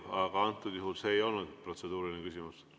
Aga see ei olnud protseduuriline küsimus.